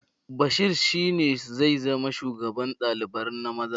Bashir shi ne zai zama shugaban ɗalibar na maza